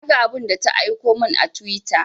Na ga abun da ta aiko mun a twitter